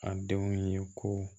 A denw ye ko